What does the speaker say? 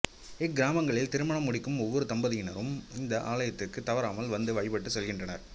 இக்கிராமங்களில் திருமணம் முடிக்கும் ஒவ்வொரு தம்பதியினரும் இந்த ஆலயத்திற்கு தவறாமல் வந்து வழிபட்டு செல்கின்றனர்